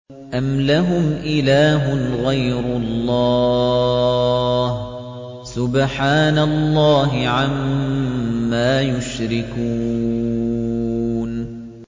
أَمْ لَهُمْ إِلَٰهٌ غَيْرُ اللَّهِ ۚ سُبْحَانَ اللَّهِ عَمَّا يُشْرِكُونَ